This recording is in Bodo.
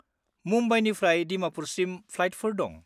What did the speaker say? मुम्बाइनिफ्राय दिमापुरसिम फ्लाइटफोर दं।